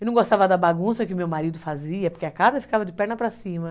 Eu não gostava da bagunça que meu marido fazia, porque a casa ficava de perna para cima.